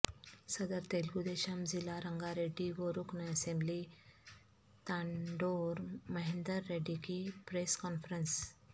صدر تلگو دیشم ضلع رنگا ریڈی و رکن اسمبلی تانڈور مہیندر ریڈی کی پریس کانفرنس